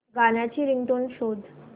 गाण्याची रिंगटोन शोध